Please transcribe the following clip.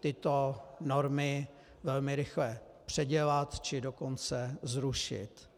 tyto normy velmi rychle předělat, či dokonce zrušit.